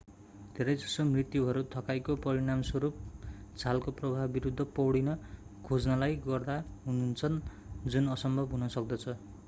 धेरैजसो मृत्युहरू थकाइको परिणामस्वरूप छालको प्रवाह विरूद्ध पौडिन खोज्नाले गर्दा हुन्छन् जुन असम्भव हुन सक्दछ